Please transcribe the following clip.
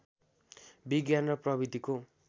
विज्ञान र प्रविधिको